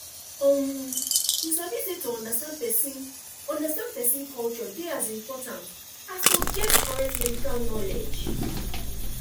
umm you sabi say to understand person understand person culture dey as important as to get correct medical knowledge